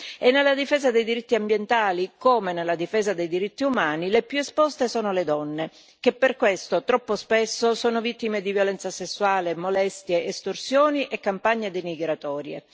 E nella difesa dei diritti ambientali, come nella difesa dei diritti umani, le più esposte sono le donne che per questo, troppo spesso, sono vittime di violenza sessuale, molestie, estorsioni e campagne denigratorie.